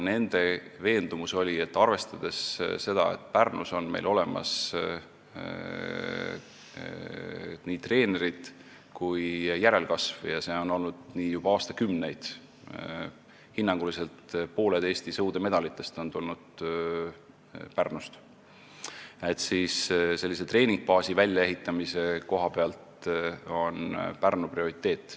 Nende veendumus oli, et arvestades seda, et Pärnus on meil olemas nii treenerid kui järelkasv – ja see on nii olnud juba aastakümneid, hinnanguliselt pooled Eesti sõudemedalitest on Pärnust tulnud –, on Pärnu sellise treeningbaasi väljaehitamise koha pealt prioriteet.